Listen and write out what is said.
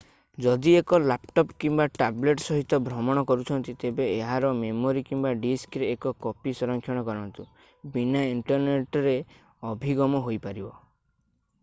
ଯଦି ଏକ ଲାପଟପ୍ କିମ୍ବା ଟାବଲେଟ୍ ସହିତ ଭ୍ରମଣ କରୁଛନ୍ତି ତେବେ ଏହାର ମେମୋରୀ କିମ୍ବା ଡିସ୍କରେ ଏକ କପି ସଂରକ୍ଷଣ କରନ୍ତୁ ବିନା ଇଣ୍ଟରନେଟ୍ ରେ ଅଭିଗମ ହୋଇପାରିବ ।